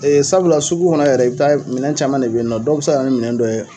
Ee sabula sugu kɔnɔ yɛrɛ i be taa minɛn caman de be yen nɔ dɔw be se ka na ni minɛn dɔ ye